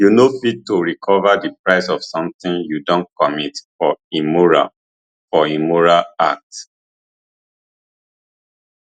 you no fit to recover di price of sometin you don commit for immoral for immoral act